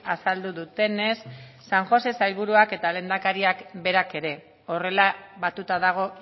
azaldu dutenez san josé sailburuak eta lehendakariak berak ere horrela batuta dago